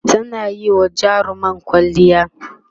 tana Yi wa jarumar kwalliya